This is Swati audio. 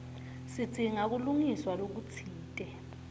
sidzinga kulungiswa lokutsite